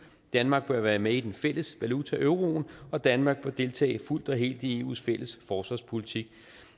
danmark bør være med i den fælles valuta euro’en og danmark bør deltage fuldt og helt i eu’s fælles forsvarspolitik